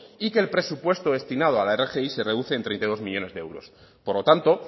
y que el presupuesto destinado a la rgi se reduce en treinta y dos millónes de euros por lo tanto